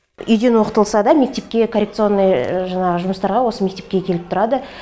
үйден оқытылса да мектепке коррекционный жаңағы жұмыстарға осы мектепке келіп тұрады